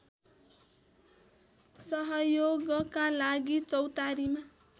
सहयोगका लागि चौतारीमा